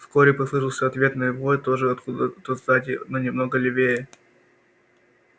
вскоре послышался ответный вой тоже откуда то сзади но немного левее